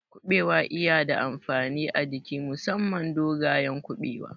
Kuɓewa iya da amfani a jiki musamman dogayen Kuɓewa